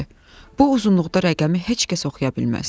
Bu uzunluqda rəqəmi heç kəs oxuya bilməz.